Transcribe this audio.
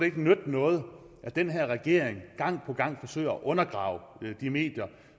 ikke nytte noget at den her regering gang på gang forsøger at undergrave de medier